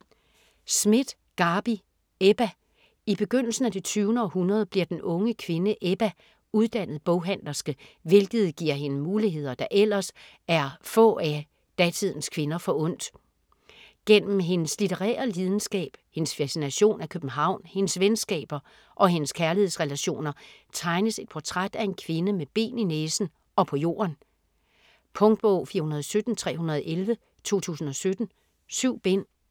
Schmidt, Garbi: Ebba I begyndelsen af det 20. århundrede bliver den unge kvinde Ebba uddannet boghandlerske, hvilket giver hende muligheder, der ellers er få af datidens kvinder forundt. Gennem hendes litterære lidenskab, hendes fascination af København, hendes venskaber og hendes kærlighedsrelationer tegnes et portræt af en kvinde med ben i næsen og på jorden. Punktbog 417311 2017. 7 bind.